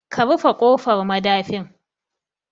Ka rufe kofar madafin